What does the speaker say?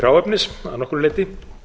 hráefnis að nokkru leyti